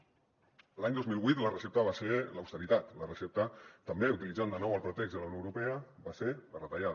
l’any dos mil vuit la recepta va ser l’austeritat la recepta també utilitzant de nou el pretext de la unió europea va ser la retallada